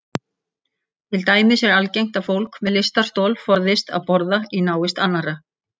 Til dæmis er algengt að fólk með lystarstol forðist að borða í návist annarra.